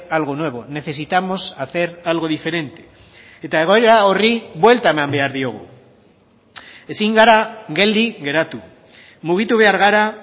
algo nuevo necesitamos hacer algo diferente eta egoera horri buelta eman behar diogu ezin gara geldi geratu mugitu behar gara